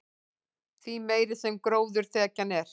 því meiri sem gróðurþekjan er